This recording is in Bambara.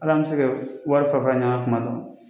Al'an bɛ se kɛ wari fara fara ɲɔgɔn kan kuma dɔ.